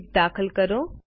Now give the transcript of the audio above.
width દાખલ કરો